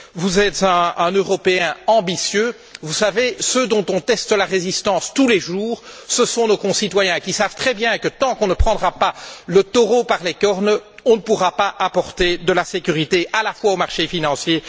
Vous êtes un Européen ambitieux, vous savez que ceux dont on teste la résistance tous les jours, ce sont nos concitoyens, qui savent très bien que tant qu'on ne prendra pas le taureau par les cornes, on ne pourra pas garantir à la fois leur sécurité et celle du marché financier.